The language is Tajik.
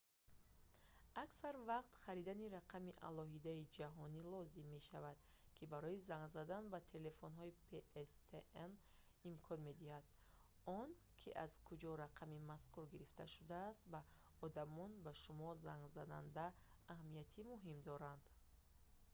аксар вақт харидани рақами алоҳида ҷаҳонӣ лозим мешавад ки барои занг задан ба телефонҳои pstn имкон медиҳад он ки аз куҷо рақами мазкур гирифта шудааст ба одамони ба шумо зангзананда аҳамияти муҳим дорад